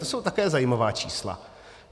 To jsou také zajímavá čísla.